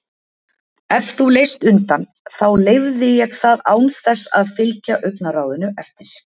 Ef þú leist undan þá leyfði ég það án þess að fylgja augnaráðinu eftir.